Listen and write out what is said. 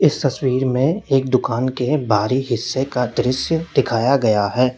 इस तस्वीर में एक दुकान के बाहरी हिस्से का दृश्य दिखाया गया है।